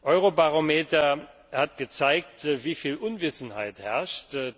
Eurobarometer hat gezeigt, wieviel Unwissenheit herrscht.